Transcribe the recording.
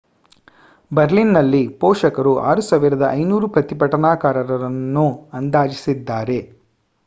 ಬರ್ಲಿನ್‌ನಲ್ಲಿ ಪೊಲೀಸರು 6,500 ಪ್ರತಿಭಟನಾಕಾರರನ್ನು ಅಂದಾಜಿಸಿದ್ದಾರೆ